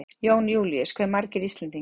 Jón Júlíus: Hve margir Íslendingar?